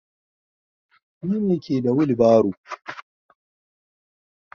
Ni me ke da wilbaron.